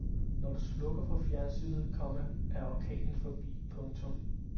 Når du slukker for fjernsynet, komma er orkanen forbi. punktum